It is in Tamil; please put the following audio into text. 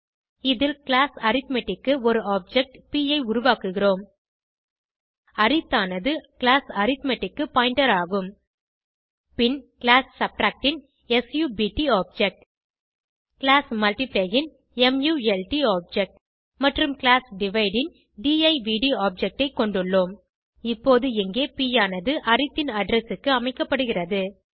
இதில் கிளாஸ் அரித்மெட்டிக் க்கு ஒரு ஆப்ஜெக்ட் ப் ஐ உருவாக்குகிறோம் அரித் ஆனது கிளாஸ் அரித்மெட்டிக் க்கு பாயிண்டர் ஆகும் பின் கிளாஸ் சப்ட்ராக்ட் ன் சப்ட் ஆப்ஜெக்ட் கிளாஸ் மல்ட்டிப்ளை ன் மல்ட் ஆப்ஜெக்ட் மற்றும் கிளாஸ் டிவைடு ன் டிவ்ட் ஆப்ஜெக்ட் ஐ கொண்டுள்ளோம் இப்பொது இங்கே ப் ஆனது அரித் ன் அட்ரெஸ் க்கு அமைக்கப்படுகிறது